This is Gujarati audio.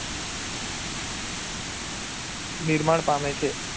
નિર્માણ પામે છે.